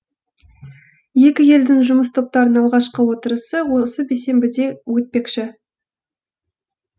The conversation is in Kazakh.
екі елдің жұмыс топтарының алғашқы отырысы осы бейсенбіде өтпекші